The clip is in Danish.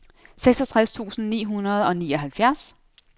seksogtres tusind ni hundrede og nioghalvfjerds